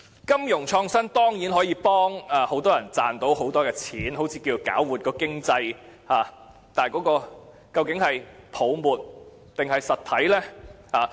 金融創新當然可有助很多人賺取很多金錢，似能搞活經濟，但這究竟是泡沫還是實體呢？